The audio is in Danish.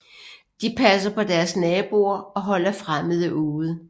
De passer på deres naboer og holder fremmede ude